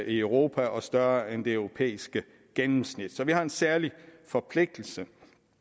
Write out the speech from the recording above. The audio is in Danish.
i europa og større end det europæiske gennemsnit så vi har en særlig forpligtelse